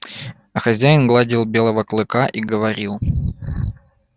а хозяин гладил белого клыка и говорил